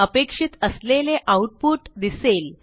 अपेक्षित असलेले आऊटपुट दिसेल